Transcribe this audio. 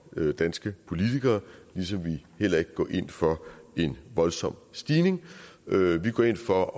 danske politikere ligesom vi heller ikke går ind for en voldsom stigning vi går ind for at